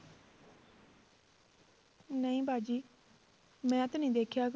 ਨਹੀਂ ਬਾਜੀ ਮੈਂ ਤਾਂ ਨੀ ਦੇਖਿਆ